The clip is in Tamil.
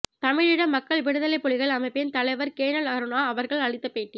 தமிழீழ மக்கள் விடுதலைப் புலிகள் அமைப்பின் தலைவர் கேணல் கருணா அவர்கள் அளித்த பேட்டி